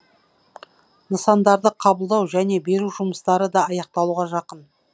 нысандарды қабылдау және беру жұмыстары да аяқталуға жақын